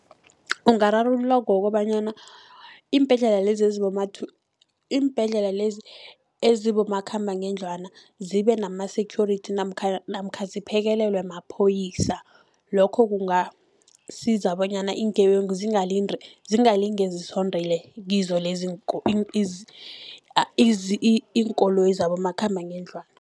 Ungararululwa kukobanyana iimbhedlela lezi, iimbhedlela lezi ezibomakhamba-ngendlwana zibe nama-security namkha ziphekelelwe mapholisa. Lokho kungasiza bonyana iingebengu zingalingi zisondele kizo lezi iinkoloyi zabomakhamba-ngendlwana.